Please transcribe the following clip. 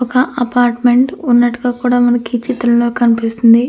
ఒక అపార్ట్మెంట్ ఉన్నట్టుగా కూడా మనకి ఈ చిత్రంలో కనిపిస్తుంది.